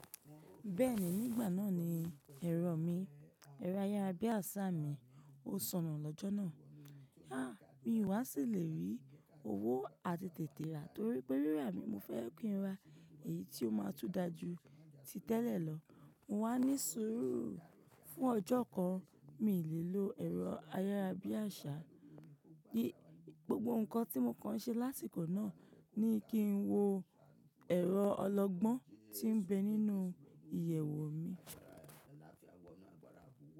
Bẹ́ẹ̀ni, nígbà náà ni ẹ̀rọ mi, ẹ̀rọ ayárabíàṣá mi, ó sonù lọ́jọ́ náà. Á mi wá sì lè rí owó àtètète rà torí pé rírà mi. Mo fẹ́ kin ra èyí tí ó máa tún dáa ju ti tẹ́lẹ̀ lọ. Mo wá ní sùúrù fún ọjọ́ kan. Mi ì lè lo ẹ̀rọ ayárabíàṣá. Gbogbo nǹkan tí mo kan ṣe lásìkò náà ni kí n wo ẹ̀rọ ọlọgbọ́n tí ń bẹ nínú ìyẹ̀wò mi.